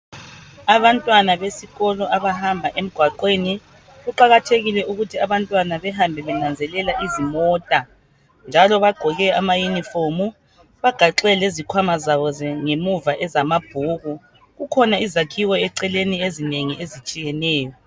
Abantwana besikolo abahamba emgwaqweni kuqakathekile ukuthi abantwana behambe benanzelela izimota njalo bagqoke amayunifomu bagaxe lezikhwama zaba ze ngemuva ezamabhuku kukhona izakhiwo eceleni ezinengi ezitshiyeneyo.